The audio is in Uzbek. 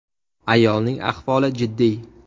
Ayolning ahvoli jiddiy.